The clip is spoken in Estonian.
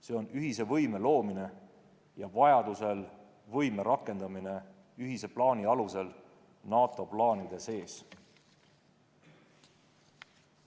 See on ühise võime loomine ja vajaduse korral võime rakendamine ühise plaani alusel NATO plaanide sees.